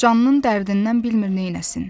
Canının dərdindən bilmir neynəsin.